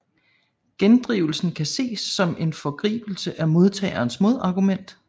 Gendrivelsen kan ses som en foregribelse af modtagerens modargument